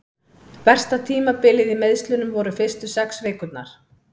Versta tímabilið í meiðslunum voru fyrstu sex vikurnar.